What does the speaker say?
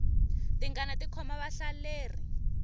tingana ti khoma vahlaleri